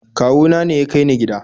kawuna ne ya kai ni gida